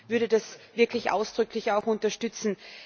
Ich würde das wirklich ausdrücklich auch unterstützen.